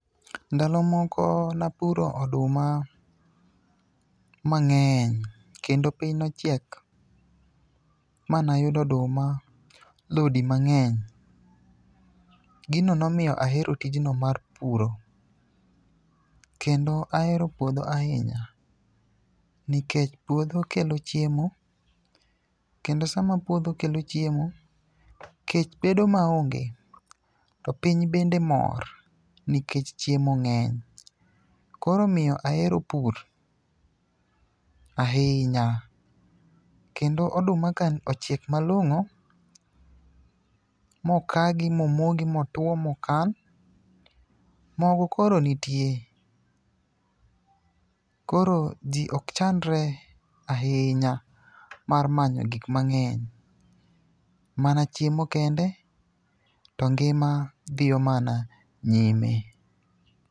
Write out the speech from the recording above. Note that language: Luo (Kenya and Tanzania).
Ndalo moko napuro oduma mang'eny kendo piny nochiek ma nayudo oduma lodi mang'eny. Gino nomiyo ahero tijno mar puro, kendo ahero puodho ahinya nikech puodho kelo chiemo, kndo sama puodho kelo chiemo, kech bedo maonge, to piny bende mor nikech chiemo ng'eny. Koro omiyo ahero pur, ahinya. Kendo oduma ka ochiek malong'o, mokagi momogi motwo mokan, mogo koro nitie, koro ji ok chandre ahinya mar manyo gik mang'eny. Mana chiemo kende to ngima dhiyo mana nyime.